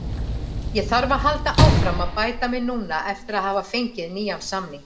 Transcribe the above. Ég þarf að halda áfram að bæta mig núna eftir að hafa fengið nýjan samning.